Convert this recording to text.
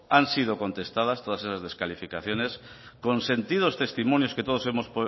han sido contestadas todas esas descalificaciones con sentidos testimonios que todos hemos